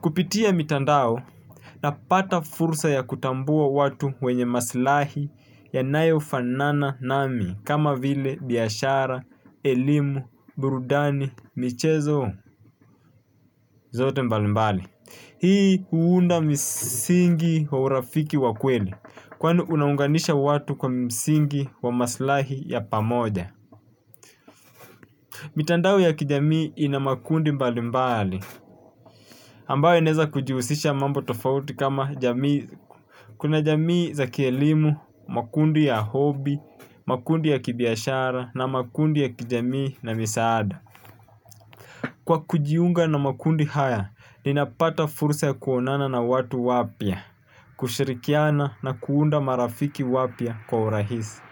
Kupitia mitandao napata fursa ya kutambua watu wenye maslahi yanayofanana nami kama vile biashara, elimu, burudani, michezo zote mbalimbali. Hii huunda misingi wa urafiki wa kweli kwani unaunganisha watu kwa msingi wa maslahi ya pamoja. Mitandao ya kijamii ina makundi mbali mbali, ambayo inaeza kujihusisha mambo tofauti kama jamii. Kuna jamii za kielimu, makundi ya hobi, makundi ya kibiashara na makundi ya kijamii na misaada. Kwa kujiunga na makundi haya, ninapata fursa ya kuonana na watu wapya, kushirikiana na kuunda marafiki wapya kwa urahisi.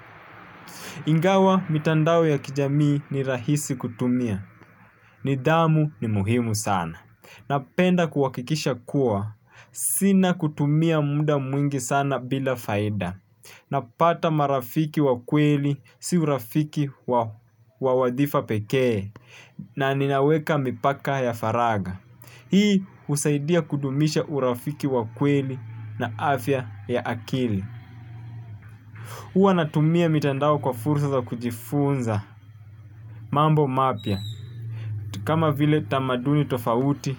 Ingawa mitandao ya kijamii ni rahisi kutumia. Nidamu ni muhimu sana. Napenda kuhakikisha kuwa sina kutumia muda mwingi sana bila faida. Napata marafiki wa kweli si urafiki wa wadhifa pekee na ninaweka mipaka ya faragha. Hii usaidia kudumisha urafiki wa kweli na afya ya akili. Huwa natumia mitandao kwa fursa za kujifunza, mambo mapya, kama vile tamaduni tofauti,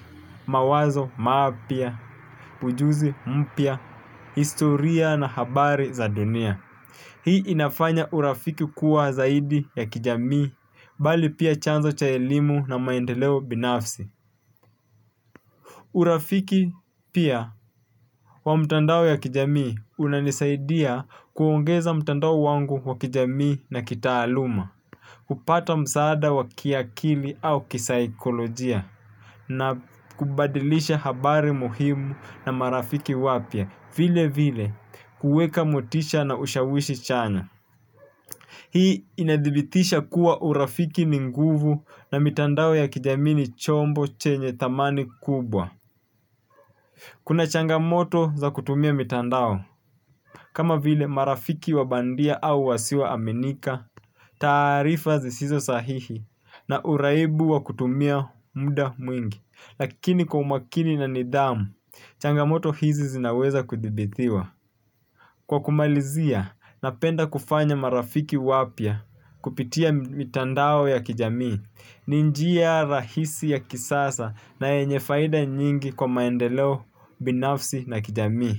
mawazo mapya, ujuzi mpya, historia na habari za dunia. Hii inafanya urafiki kuwa zaidi ya kijamii, bali pia chanzo cha elimu na maendeleo binafsi. Urafiki pia wa mtandao ya kijamii unanisaidia kuongeza mitandao wangu wa kijamii na kitaaluma. Kupata msaada wa kiakili au kisaikolojia na kubadilisha habari muhimu na marafiki wapya vile vile kuweka motisha na ushawishi chanya. Hii inadhibitisha kuwa urafiki ni nguvu na mitandao ya kijamii ni chombo chenye thamani kubwa. Kuna changamoto za kutumia mitandao. Kama vile marafiki wa bandia au wasio aminika, taarifa zisizo sahihi na uraibu wa kutumia muda mwingi, lakini kwa umakini na nidhamu, changamoto hizi zinaweza kudhibitiwa. Kwa kumalizia, napenda kufanya marafiki wapya kupitia mitandao ya kijamii, ni njia rahisi ya kisasa na yenye faida nyingi kwa maendeleo binafsi na kijamii.